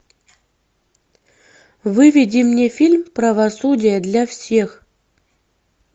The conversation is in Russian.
выведи мне фильм правосудие для всех